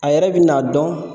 A yɛrɛ bi n'a dɔn